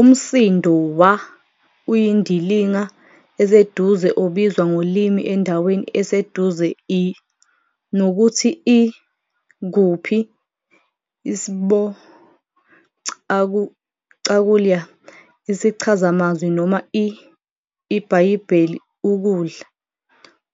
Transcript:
Umsindo 'wa' uyindilinga eseduze obizwa ngolimi endaweni eseduze-i. 'nokuthi' l 'kuphi, isb cakulya, Isichazamazwi, noma i-, IBhayibheli, 'ukudla'.